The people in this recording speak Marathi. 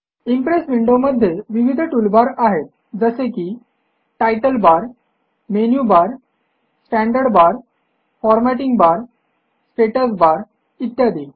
इम्प्रेस विंडोमध्ये विविध टूलबार आहेत जसे की title bar menu bar standard bar formatting bar status bar इत्यादी